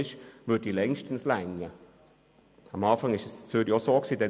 der Betrieb an diesen Tagen würde bestimmt ausreichen.